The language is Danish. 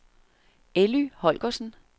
Elly Holgersen